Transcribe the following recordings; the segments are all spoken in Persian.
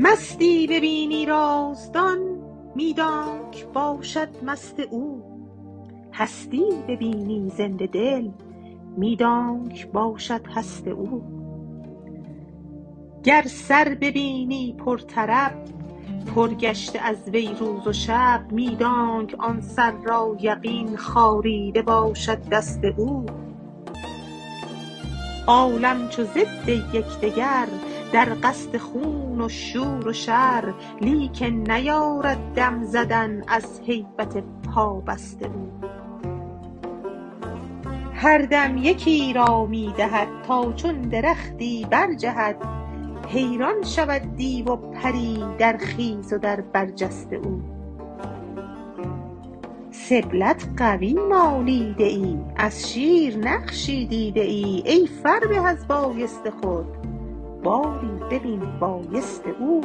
مستی ببینی رازدان می دانک باشد مست او هستی ببینی زنده دل می دانک باشد هست او گر سر ببینی پرطرب پر گشته از وی روز و شب می دانک آن سر را یقین خاریده باشد دست او عالم چو ضد یک دگر در قصد خون و شور و شر لیکن نیارد دم زدن از هیبت پابست او هر دم یکی را می دهد تا چون درختی برجهد حیران شود دیو و پری در خیز و در برج است او سبلت قوی مالیده ای از شیر نقشی دیده ای ای فربه از بایست خود باری ببین بایست او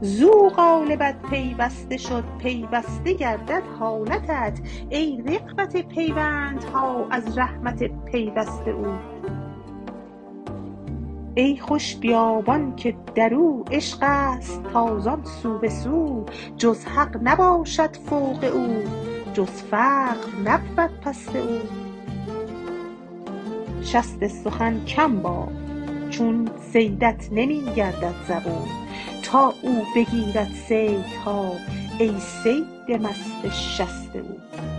زو قالبت پیوسته شد پیوسته گردد حالتت ای رغبت پیوندها از رحمت پیوست او ای خوش بیابان که در او عشق است تازان سو به سو جز حق نباشد فوق او جز فقر نبود پست او شست سخن کم باف چون صیدت نمی گردد زبون تا او بگیرد صیدها ای صید مست شست او